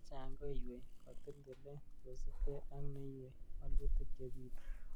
Chechang ko ywei kotil tilet, kosiibge ak neiywei waluutik chebitu.